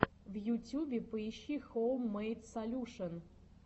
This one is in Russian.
в ютюбе поищи хоум мэйд солюшен